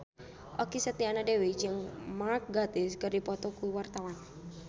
Okky Setiana Dewi jeung Mark Gatiss keur dipoto ku wartawan